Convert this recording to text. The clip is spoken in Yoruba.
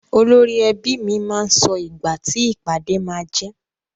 Olórí ẹbi mi máa sọ ìgbà ti ìpàdé máá jẹ́.